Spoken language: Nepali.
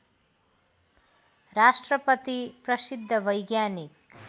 राष्ट्रपति प्रसिद्ध वैज्ञानिक